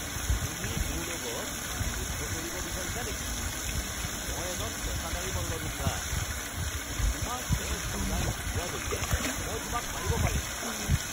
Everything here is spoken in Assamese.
তুমি মোৰ লগত যুদ্ধ কৰিব বিচাৰিছা নেকি? মই এজন পেচাদাৰী মল্লযোদ্ধা! তোমাৰ তেজ ওলাই নোযোৱালৈকে মই তোমাক মাৰিব পাৰিম।